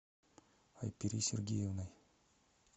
айпери сергеевной